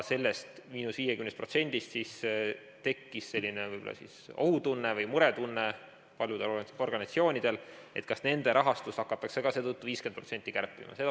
Sellest –50%-st tekkis selline ohutunne või muretunne paljudel organisatsioonidel, kas nende rahastust hakatakse ka seetõttu 50% kärpima.